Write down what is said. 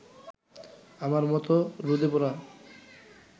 আমার মত রোদে পোড়া